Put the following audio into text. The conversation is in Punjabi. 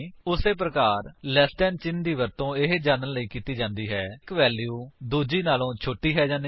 ਉਸੀ ਪ੍ਰਕਾਰ ਲੈਸ ਦੈਨ ਚਿੰਨ੍ਹ ਦਾ ਵਰਤੋ ਇਹ ਜਾਂਚ ਕਰਣ ਲਈ ਕੀਤਾ ਜਾਂਦਾ ਹੈ ਕਿ ਇੱਕ ਵੈਲਿਊ ਦੂੱਜੇ ਤੋਂ ਛੋਟੀ ਹੈ ਜਾਂ ਨਹੀਂ